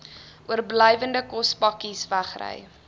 oorblywende kospakkes wegry